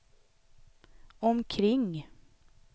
omkring